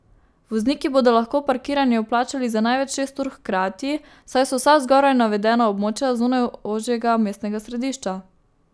Vozniki bodo lahko parkiranje vplačali za največ šest ur hkrati, saj so vsa zgoraj navedena območja zunaj ožjega mestnega središča.